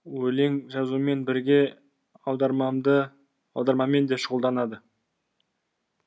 өлең жазумен бірге аудармамен де шұғылданады